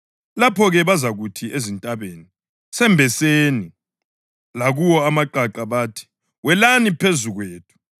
Lapho-ke ‘bazakuthi ezintabeni, “Sembeseni!” + 23.30 UHosiya 10.8 Lakuwo amaqaqa bathi, “Welani phezu kwethu!” ’